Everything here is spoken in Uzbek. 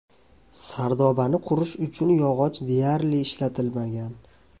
Sardobani qurish uchun yog‘och deyarli ishlatilmagan.